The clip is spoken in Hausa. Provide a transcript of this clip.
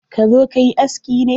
Ka zo kayi aski ne?